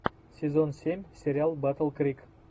сезон семь сериал батл крик